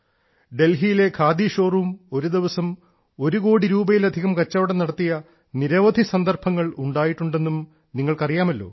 ഡൽഹിയിലെ ഖാദി ഷോറൂം ഒരു ദിവസം ഒരു കോടി രൂപയിലധികം കച്ചവടം നടത്തിയ നിരവധി സന്ദർഭങ്ങൾ ഉണ്ടായിട്ടുണ്ടെന്നും നിങ്ങൾക്ക് അറിയാമല്ലോ